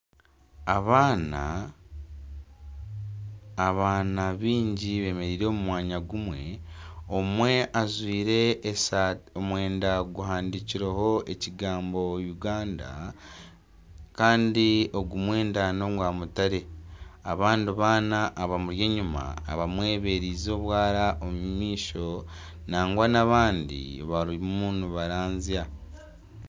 Abaana baingi bemereire omu mwanya gumwe omwe ajwaire omwenda guhandikireho ekigambo "Uganda" Kandi omwenda nogwa mutare abandi baana abamuri enyuma abamwereize obwara omu maisho nangwa n'abandi barimu nibaranzya